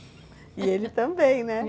E ele também, né?